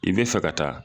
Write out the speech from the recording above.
I bɛ fɛ ka taa